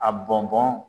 A bɔn bɔn